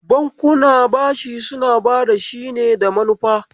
Bankuna bashi suna bada bashi ne da manufa.